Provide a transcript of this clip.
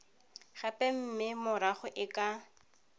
gape mme morago e ka